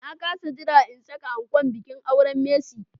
Na kas jira in saka ankon bikin auren Mercy.